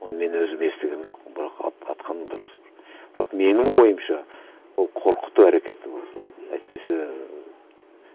оны мен өзім естіген жоқпын бірақ атқаны дұрыс бірақ менің ойымша ол қорқыту әрекеті болды әйтпесе